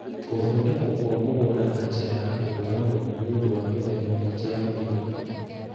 Gũthondekwo kwa mũgũnda na njĩra ya kũhũũra mũhu nĩ ũndũ wa mĩthemba mĩingĩ ya mĩigua